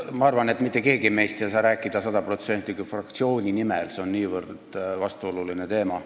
Ma arvan, et mitte keegi meist ei saa praegu rääkida sada protsenti fraktsiooni nimel, sest see on niivõrd vastuoluline teema.